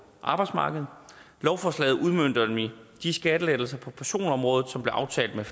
arbejdsmarkedet lovforslaget udmønter nemlig de skattelettelser på personområdet som blev aftalt med